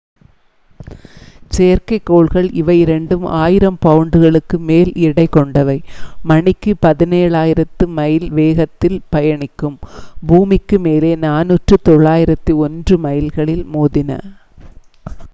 செயற்கைக்கோள்கள் இவை இரண்டும் ஆயிரம் பவுண்டுகளுக்கு மேல் எடை கொண்டவை மணிக்கு பதினேழாயிரத்து மைல் வேகத்தில் பயணிக்கும் பூமிக்கு மேலே நானூற்று தொள்ளாயிரத்து ஒன்று மைல்களில் மோதின